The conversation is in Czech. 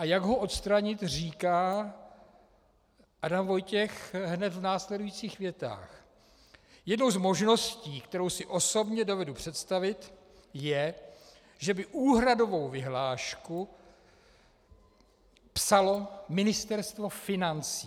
A jak ho odstranit, říká Adam Vojtěch hned v následujících větách: Jednou z možností, kterou si osobně dovedu představit, je, že by úhradovou vyhlášku psalo Ministerstvo financí.